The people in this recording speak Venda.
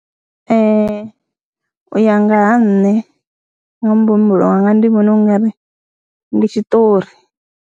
Ee, u ya nga ha nṋe nga muhumbulo wanga ndi vhona u ng ari ndi tshiṱori.